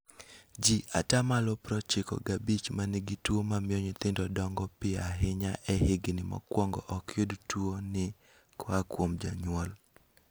Jii ata malo prochiko gabich manigi tuo mamio nyithindo dongo piyo ahinya e higni mokwongo ok yud tuo ni koa kuom janyuol